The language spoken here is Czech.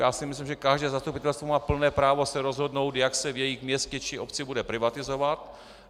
Já si myslím, že každé zastupitelstvo má plné právo se rozhodnout, jak se v jejich městě či obci bude privatizovat.